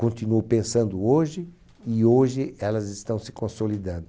Continuo pensando hoje e hoje elas estão se consolidando.